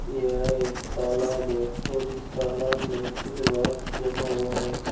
यह एक तालाब है और इस तालाब में कुछ घास जमा हुआ है।